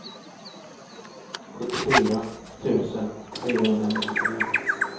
sjuttiofyra tusen fyrahundranittiotre